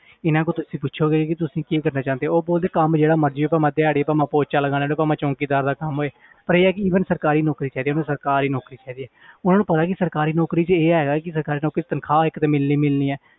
ਇਹਨਾਂ ਕੋਲੋਂ ਤੁਸੀਂ ਪੁਛੋਗੇ ਕਿ ਤੁਸੀਂ ਕੀ ਕਰਨਾ ਚਾਹੁੰਦੇ ਹੋ ਉਹ ਬੋਲਦੇ ਕੰਮ ਜਿਹੜਾ ਮਰਜ਼ੀ ਹੋਵੇ ਭਾਵੇਂ ਦਿਹਾੜੀ ਭਾਵੇਂ ਪੋਚਾ ਲਗਾਉਣਾ ਤੇ ਭਾਵੇਂ ਚੌਂਕੀਦਾਰ ਦਾ ਕੰਮ ਹੋਏ ਪਰ ਇਹ ਆ ਕਿ ਈਵਨ ਸਰਕਾਰੀ ਨੌਕਰੀ ਚਾਹੀਦੀ ਹੈ ਮੈਨੂੰ ਸਰਕਾਰੀ ਨੌਕਰੀ ਚਾਹੀਦੀ ਹੈ ਉਹਨਾਂ ਨੂੰ ਪਤਾ ਕਿ ਸਰਕਾਰੀ ਨੌਕਰੀ 'ਚ ਇਹ ਹੈਗਾ ਕਿ ਸਰਕਾਰੀ ਨੌਕਰੀ 'ਚ ਤਨਖ਼ਾਹ ਇੱਕ ਤੇ ਮਿਲਣੀ ਮਿਲਣੀ ਹੈ